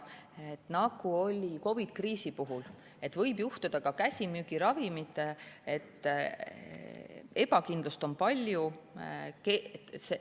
Aga nagu oli COVID-i kriisi puhul, võib ka käsimüügiravimitega olla palju ebakindlust.